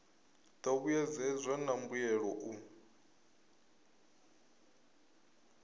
do vhuedzedzwa na mbuelo u